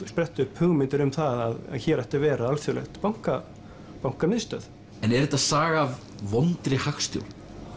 spretta upp hugmyndir um að hér ætti að vera alþjóðleg bankamiðstöð en er þetta saga af vondri hagstjórn